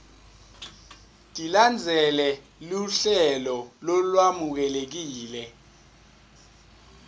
tilandzele luhlelo lolwemukelekile